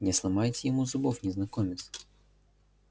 не сломайте ему зубов незнакомец